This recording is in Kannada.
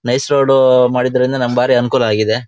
ನೈಸ್ ರೋಡ್ ಮಾಡಿದರಿಂದ ನಮ್ಗೆ ಬಾರಿ ಅನುಕೂಲ ಆಗಿದೆ.